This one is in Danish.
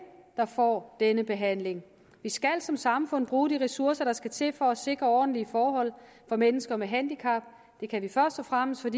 der får denne behandling vi skal som samfund bruge de ressourcer der skal til for at sikre ordentlige forhold for mennesker med handicap det kan vi først og fremmest